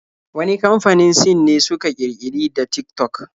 Wani kamfanin Sin ne suka ƙirƙiri da Tik-tok